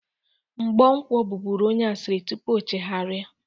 Mgbọnkwọ bụbụrụ onye asịrị tupu ochegharia.